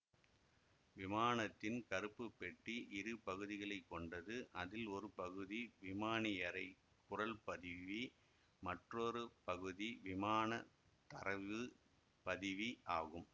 விமானத்தின் கருப்பு பெட்டி இரு பகுதிகளை கொண்டது அதில் ஒரு பகுதி விமானியறை குரல் பதிவி மற்றொரு பகுதி விமான தரவு பதிவி ஆகும்